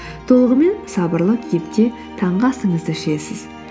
толығымен сабырлы кейіпте таңғы асыңызды ішесіз